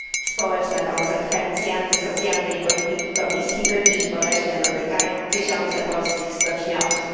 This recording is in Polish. Społeczne konsekwencje antysocjalnej polityki Komisji do dziś boleśnie dotykają tysiące polskich stoczniowców.